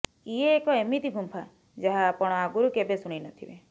ଇଏ ଏକ ଏମିତି ଗୁମ୍ଫା ଯାହା ଆପଣ ଆଗରୁ କେବେ ଶୁଣିନଥିବେ